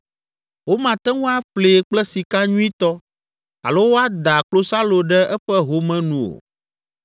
Womate ŋu aƒlee kple sika nyuitɔ alo woada klosalo ɖe eƒe home nu o.